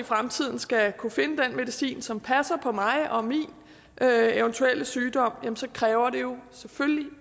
fremtiden skal kunne finde den medicin som passer på mig og min eventuelle sygdom kræver det jo selvfølgelig